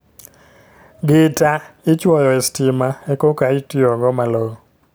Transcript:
Gita ichuoyo e sitima e koka itiyo go malong'o